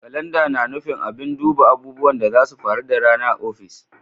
Kalanda na nufin abin duba abubuwan da zasu faru da rana a ofis.